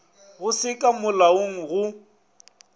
go se ka molaong go